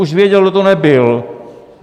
Už věděl, kdo to nebyl!